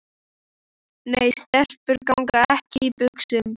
Nei, stelpur ganga ekki í buxum.